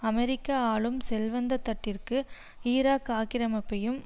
அமெரிக்க ஆளும் செல்வந்த தட்டிற்கு ஈராக் ஆக்கிரமிப்பையும்